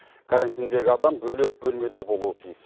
карантиндегі адам бөлек бөлмеде болуы тиіс